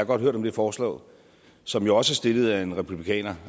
godt hørt om det forslag som jo også er stillet af en republikaner